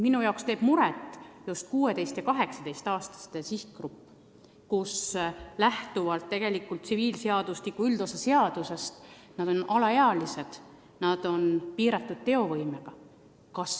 Mulle teeb muret just 16–18-aastaste sihtgrupp, kes tsiviilseadustiku üldosa seaduse kohaselt on alaealised, piiratud teovõimega.